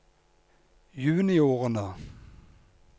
juniorene